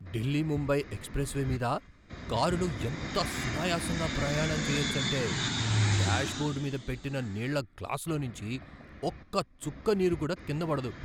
Delhi Mumbai expressway మీద కారులో ఎంత సునాయాసంగా ప్రయాణం చేయొచ్చంటే, డాష్బో ర్డు మీద పెట్టిన నీళ్ళ గ్లాసులోంచి ఒక్క చుక్క నీరు కూడా కింద పడదు.